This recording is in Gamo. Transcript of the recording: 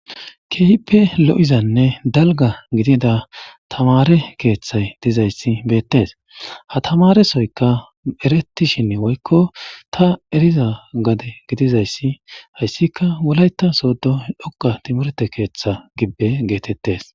Keehippe lo7izanne dalga gidida tamare keeththay dizayssi beettes ha tamaresoyka erettishin woykko ta eriza gade gidizayssi hayssika wulayta soodo dhoqa timurete keeththa gibbe geetettes.